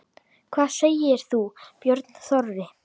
Hvað segir þú, Björn Þorri?